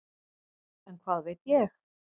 En hvað veit ég.